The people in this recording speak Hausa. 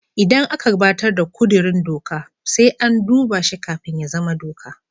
Idan aka gabatar da kudirin doka, sai an duba shi kafin ya zama doka.